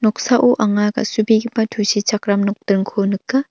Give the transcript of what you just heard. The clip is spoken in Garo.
noksao anga ga·subegipa tusichakram nokdringko nika.